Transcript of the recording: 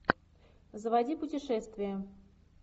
заводи путешествия